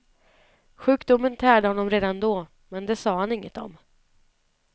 Sjukdomen tärde honom redan då, men det sa han ingenting om.